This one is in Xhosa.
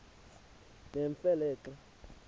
nemfe le xa